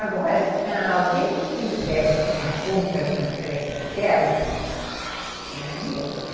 Agora, alguém que quisesse tomar conta de uma creche daquelas, não ia arrumar.